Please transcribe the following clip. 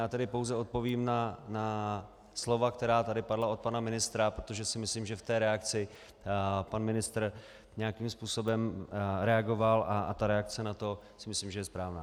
Já tedy pouze odpovím na slova, která tady padla od pana ministra, protože si myslím, že v té reakci pan ministr nějakým způsobem reagoval a ta reakce na to si myslím, že je správná.